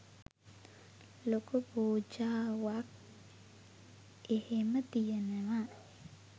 ලොකු පූජාවක් එහෙම තියනවා